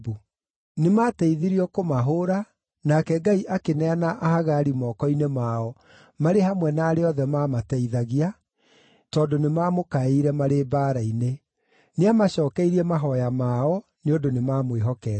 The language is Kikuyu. Nĩmateithirio kũmahũũra, nake Ngai akĩneana Ahagari moko-inĩ mao, marĩ hamwe na arĩa othe maamateithagia, tondũ nĩmamũkaĩire marĩ mbaara-inĩ. Nĩamacookeirie mahooya mao, nĩ ũndũ nĩmamwĩhokete.